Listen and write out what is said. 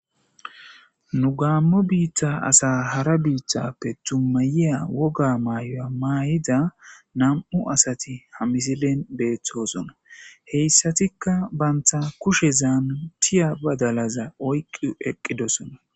Nu gaammo biitta asa hara biithappe tummayiya woga maayoya maay7ida nam7u asati ha misilen beeththoosona heyssatikka banta kushezan tiya badalaza oyqqu eqqidosona.